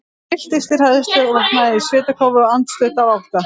Ég trylltist af hræðslu og vaknaði í svitakófi, andstutt af ótta.